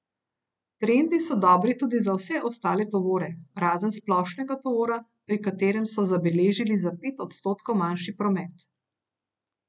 Trendi so dobri tudi za vse ostale tovore, razen splošnega tovora, pri katerem so zabeležili za pet odstotkov manjši promet.